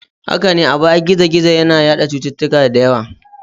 Haka ne, a baya gizo-gizo yana yada cututtuka da yawa.